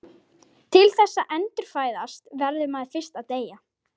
Nú eru bændur meðal hörðustu andstæðinga herforingjaklíkunnar.